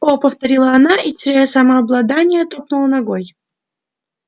о повторила она и теряя самообладание топнула ногой